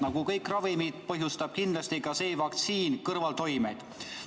Nagu kõik ravimid, põhjustab kindlasti ka see vaktsiin kõrvaltoimeid.